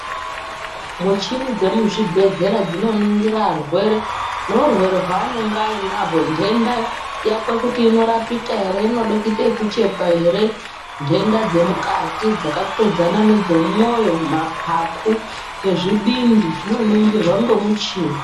Muchini dzemuzvibhedhlera dzinoningira arwere neurwere waanenge ainahwo ndenda yakwe kuti inorapika ere inode kuite yekuchekwa ere. Ntenda dzemukati dzaka todzana nedze moyo, mapapu nezvibindi zvino ningirwa ngemichini.